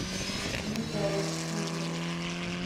битлз слушать